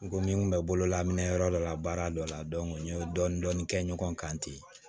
N ko min bɛ bololaminɛ minɛ yɔrɔ dɔ la baara dɔ la n ye dɔɔnin-dɔɔnin kɛ ɲɔgɔn kan ten